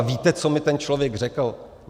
A víte, co mi ten člověk řekl?